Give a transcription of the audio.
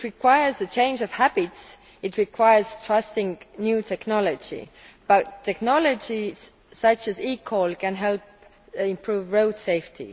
It requires a change of habits, it means trusting new technology, but technology such as eCall can help improve road safety.